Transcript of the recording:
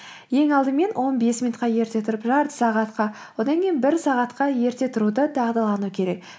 ең алдымен он бес минутқа ерте тұрып жарты сағатқа одан кейін бір сағатқа ерте тұруды дағдылану керек